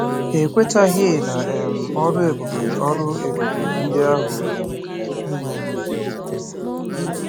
Ha ekwetaghị na um ọrụ ebube ọrụ ebube ndị ahụ um mere.